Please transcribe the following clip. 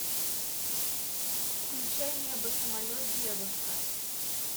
включай небо самолет девушка